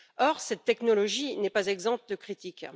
Or, cette technologie n'est pas exempte de critiques.